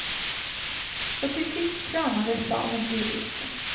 Och till sist kramades saven ur eken.